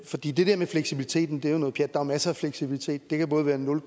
fordi det der med fleksibiliteten er jo noget pjat er masser af fleksibilitet det kan både være nul